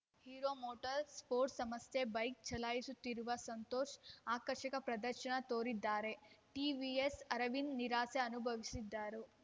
hero motor sports ಸಂಸ್ಥೆ bike ಚಲಾಯಿಸುತ್ತಿರುವ ಸಂತೋಷ್‌ ಆಕರ್ಷಕ ಪ್ರದರ್ಶನ ತೋರಿದರೆ ಟಿವಿಎಸ್‌ ಅರವಿಂದ್‌ ನಿರಾಸೆ ಅನುಭವಿಸಿದರು